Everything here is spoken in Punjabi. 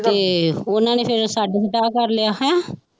ਤੇ ਉਹਨਾਂ ਨੇ ਫਿਰ ਛਡ ਛਡਾ ਕਰ ਲਿਆ, ਹੈਂ?